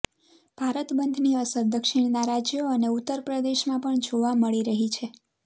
ભારત બંધની અસર દક્ષિણના રાજ્યો અને ઉત્તર પ્રદેશમાં પણ જોવા મળી રહી છે